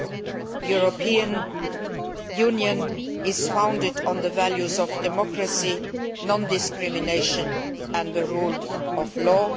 The European Union is founded on the values of democracy, non discrimination and the rule of law.